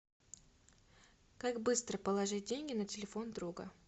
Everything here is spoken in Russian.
как быстро положить деньги на телефон друга